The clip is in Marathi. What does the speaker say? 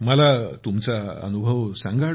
मला तुमचा अनुभव सांगा